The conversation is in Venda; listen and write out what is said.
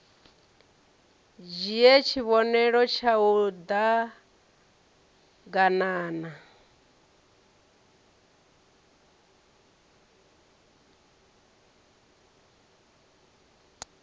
dzhie tshivhonelo tshau d aganana